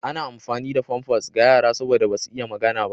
Ana amfani da famfas ga yara saboda basu iya magana ba.